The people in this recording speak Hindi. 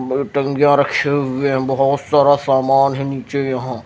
टंगिया रखे हुए हैं बहुत सारा सामान है नीचे यहां--